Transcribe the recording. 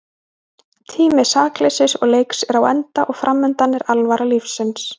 Tími sakleysis og leiks er á enda og framundan er alvara lífsins.